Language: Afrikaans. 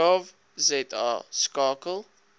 gov za skakel